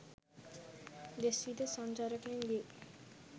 දෙස් විදෙස් සංචාරකයන් ගේ